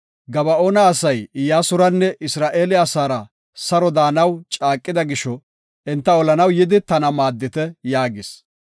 “Gaba7oona asay Iyyasuranne Isra7eele asaara saro de7anaw caaqida gisho, enta olanaw yidi tana maaddite” yaagis.